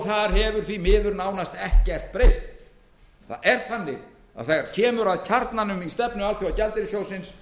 þar hefur því miður nánast ekkert breyst þegar kemur að kjarnanum í stefnu alþjóðagjaldeyrissjóðsins